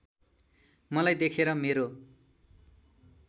मलाई देखेर मेरो